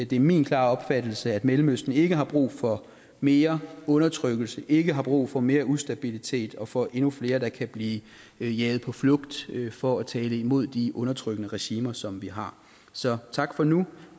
det er min klare opfattelse at mellemøsten ikke har brug for mere undertrykkelse ikke har brug for mere ustabilitet og for endnu flere der kan blive jaget på flugt for at tale imod de undertrykkende regimer som de har så tak for nu